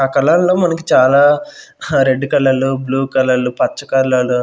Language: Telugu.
ఆ కళ్ళల్లో మనకి చాలా హ రెడ్డు కలర్లు బ్లూ కలర్లు పచ్చ కలర్లు --